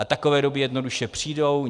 A takové doby jednoduše přijdou.